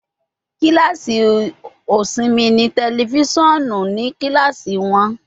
Kilasi osinmi ni tẹlifisiọnu ni kilasi wọn